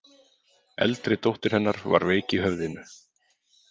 Eldri dóttir hennar var veik í höfðinu.